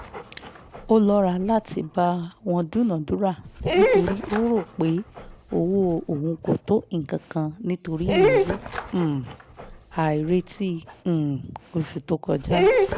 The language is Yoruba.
ó lọ́ra láti bá wọn dúnadúrà nítorí ó rò pé owó òun kò tó nǹkan nítorí ìnáwó um àìrètí um oṣù tó kọjá